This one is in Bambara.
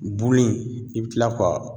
Bulu in i bi kila ka